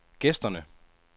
gæsterne